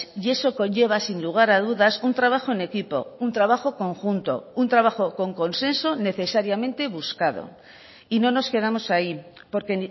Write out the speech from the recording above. y eso conlleva sin lugar a dudas un trabajo en equipo un trabajo conjunto un trabajo con consenso necesariamente buscado y no nos quedamos ahí porque